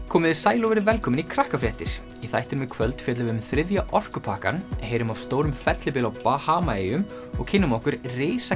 komiði sæl og verið velkomin í í þættinum í kvöld fjöllum við um þriðja orkupakkann heyrum af stórum fellibyl á Bahamaeyjum og kynnum okkur